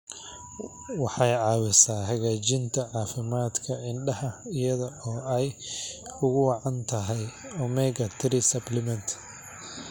Waxay caawisaa hagaajinta caafimaadka indhaha iyada oo ay ugu wacan tahay omega-3 supplements.